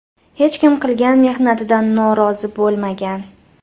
Hech kim qilgan mehnatidan norozi bo‘lmagan.